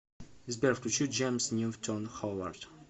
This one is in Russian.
сбер включи джеймс ньютон ховард